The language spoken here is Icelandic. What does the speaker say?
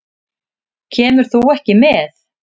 Kemur þú ekki með?